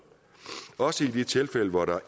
også i de tilfælde hvor der